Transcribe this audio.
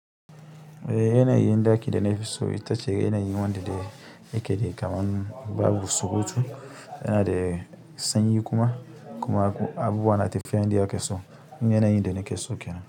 Eh yana yin ɗaki da na fi so ita ce yana yi wanda yake kamar babu wusuwusu, yana da sanyi kuma. Kuma abubuwa na tafiya inda ake so irin yana yin da nake so kenan.